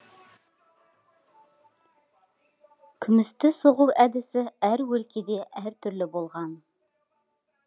күмісті соғу әдісі әр өлкеде әр түрлі болған